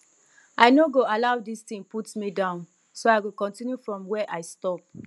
i no go allow dis thing put me down so i go continue from where i stop